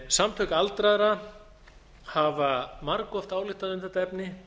samtök aldraðra hafa margoft ályktað um þetta efni